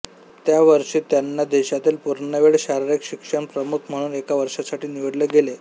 त्या वर्षी त्यांना देशातील पूर्णवेळ शारीरिक शिक्षण प्रमुख म्हणून एका वर्षासाठी निवडले गेले